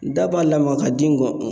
Da b'a la ma ka di gɔn